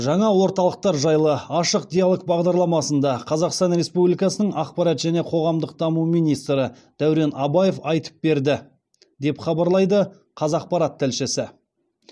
жаңа орталықтар жайлы ашық диалог бағдарламасында қазақстан республикасының ақпарат және қоғамдық даму министрі дәурен абаев айтып берді деп хабарлайды қазақпарат тілшісі